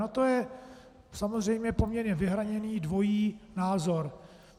Na to je samozřejmě poměrně vyhraněný dvojí názor.